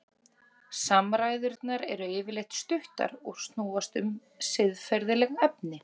Samræðurnar eru yfirleitt stuttar og snúast um siðferðileg efni.